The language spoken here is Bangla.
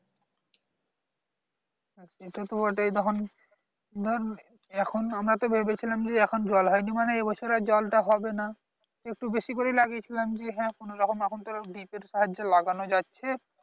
হ্যাঁ সেটা তো বটেই তখন ধর এখন আমরা তো ভেবেছিলাম যে এখন জল হয়নি মানে এবছর আর জলটা হবে না একটু বেশি করেই লাগিয়েছিলাম যে হ্যাঁ কোনোরকম এখন তো deep এর সাহায্যে লাগানো যাচ্ছে